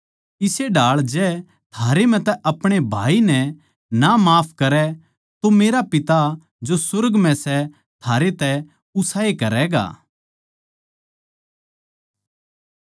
इस्से ढाळ जै थारे म्ह तै अपणे भाई नै ना माफ करै तो मेरा पिता जो सुर्ग म्ह सै थारे तै उसाए करैगा